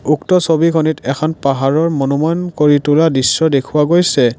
উক্ত ছবিখনিত এখন পাহাৰৰ কৰি তুলা দৃশ্য দেখুওৱা গৈছে।